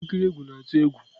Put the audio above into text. Ihe nkiri egwu na-atụ egwu.